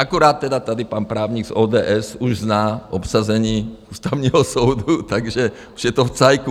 Akorát tedy tady pan právník z ODS už zná obsazení Ústavního soudu, takže už je to v cajku.